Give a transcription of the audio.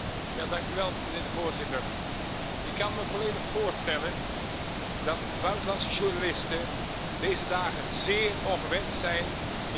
Voorzitter, ik kan me volledig voorstellen dat buitenlandse journalisten deze dagen zeer ongewenst zijn in Xinjiang.